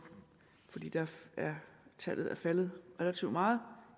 tallet er faldet relativt meget